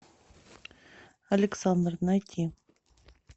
александр найти